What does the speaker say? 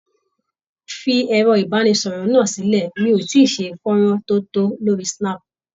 Fi ẹ̀rọ ìbánisọ̀rọ̀ náà sílẹ̀, mi ò tíì ṣe fọ́nrán tí ó tó lórí snap